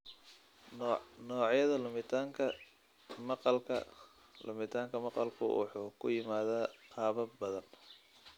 Noocyada Lumitaanka Maqalka Lumitaanka maqalku wuxuu ku yimaadaa qaabab badan.